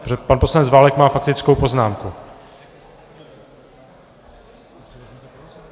Protože pan poslanec Válek má faktickou poznámku.